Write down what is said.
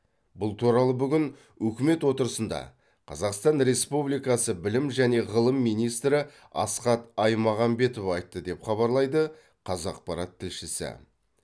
бұл туралы бүгін үкімет отырысында қазақстан республикасы білім және ғылым министрі асхат аймағамбетов айтты деп хабарлайды қазақпарат тілшісі